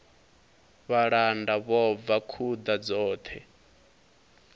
vhalanda vho bva khuḓa dzoṱhe